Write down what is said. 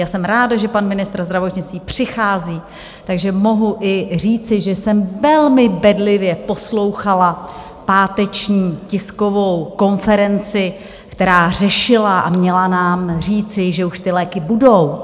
Já jsem ráda, že pan ministr zdravotnictví přichází, takže mohu i říci, že jsem velmi bedlivě poslouchala páteční tiskovou konferenci, která řešila a měla nám říci, že už ty léky budou.